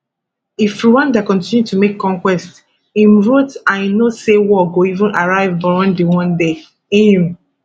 if rwanda continue to make conquests im wrote i know say war go even arrive burundi one day im